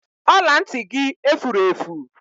Ọla ntị gị efure efu